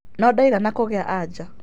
No ndaigana kũgĩa anja.